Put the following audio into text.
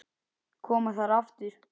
Koma þær aftur?